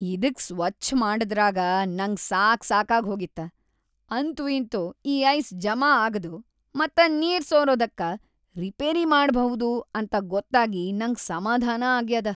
ಇದಕ್‌ ಸ್ವಚ್ಛ್ ಮಾಡದ್ರಾಗ ನಂಗ ಸಾಕ್‌ ಸಾಕಾಗ್ಹೋಗಿತ್ತ. ಅಂತೂಇಂತೂ ಈ ಐಸ್‌ ಜಮಾಆಗದು ಮತ್ತ ನೀರ್‌ ಸೋರದಕ್ಕ ರಿಪೇರಿ ಮಾಡ್ಭೌದು ಅಂತ ಗೊತ್ತಾಗಿ ನಂಗ್ ಸಮಾಧಾನ ಆಗ್ಯದ.